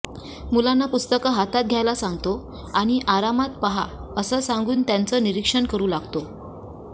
मुलांना पुस्तकं हातात घ्यायला सांगतो आणि आरामात पहा असं सांगून त्यांचं निरीक्षण करू लागतो